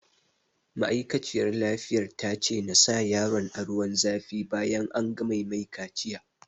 Ma'aikaciyar lafiyar ta ce na sa yaron a ruwan zafi bayan an gama mai kaciya